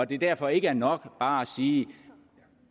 det derfor ikke er nok bare at sige